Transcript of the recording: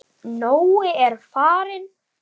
Nói er farinn.